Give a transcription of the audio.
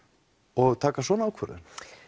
og taka svona ákvörðun